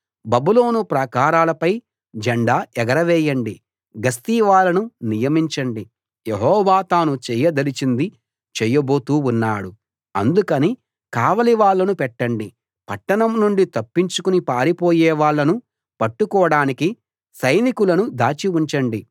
బబులోను ప్రాకారాలపై జెండా ఎగరవేయండి గస్తీ వాళ్ళను నియమించండి యెహోవా తాను చేయదలిచింది చేయబోతూ ఉన్నాడు అందుకని కావలి వాళ్ళను పెట్టండి పట్టణం నుండి తప్పించుకుని పారిపోయే వాళ్ళను పట్టుకోడానికి సైనికులను దాచి ఉంచండి